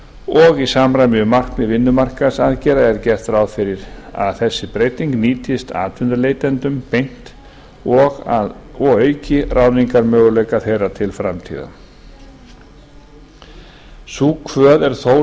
og í samræmi við markmið vinnumarkaðsaðgerða er gert ráð fyrir að þessi breyting nýtist atvinnuleitendum beint og auki ráðningarmöguleika þeirra til framtíðar sú kvöð er þó